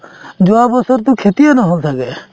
যোৱা বছৰতো খেতিয়ে নহল ছাগে